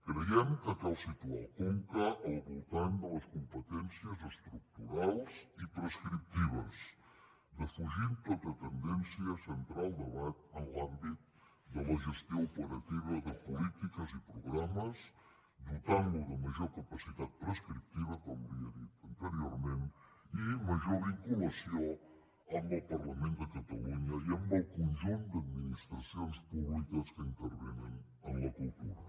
creiem que cal situar el conca al voltant de les competències estructurals i prescriptives defugint tota tendència a centrar el debat en l’àmbit de la gestió operativa de polítiques i programes dotant lo de major capacitat prescriptiva com li he dit anteriorment i major vinculació amb el parlament de catalunya i amb el conjunt d’administracions públiques que intervenen en la cultura